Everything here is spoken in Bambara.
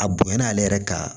A bonyana ale yɛrɛ ka